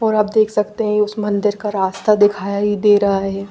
तो आप देख सकते है इस मंदिर का रास्ता दिखाई दे रहा है।